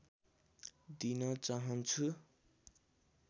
दिन चाहन्छु